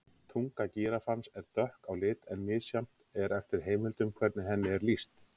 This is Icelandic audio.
Tunga gíraffans er dökk á lit en misjafnt er eftir heimildum hvernig henni er lýst.